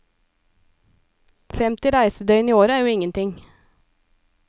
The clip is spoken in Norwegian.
Femti reisedøgn i året er jo ingenting.